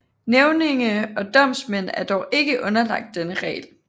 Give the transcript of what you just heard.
Nævninge og domsmænd er dog ikke underlagt denne regel